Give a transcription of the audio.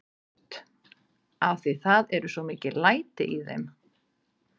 Hödd: Af því það eru svo mikil læti í þeim?